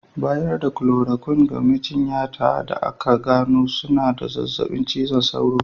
Bayar da "chloroquine" ga majinyata da aka gano suna da zazzabin cizon sauro.